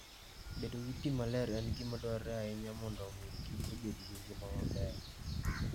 Bedo gi pi maler en gima dwarore ahinya mondo omi kich obed gi ngima maber.